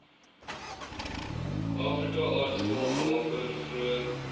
afrikaaartappel waarvoor vroeër